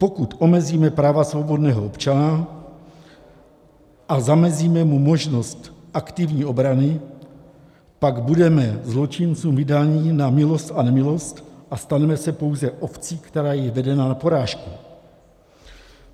Pokud omezíme práva svobodného občana a zamezíme mu možnost aktivní obrany, pak budeme zločincům vydáni na milost a nemilost a staneme se pouze ovcí, která je vedena na porážku.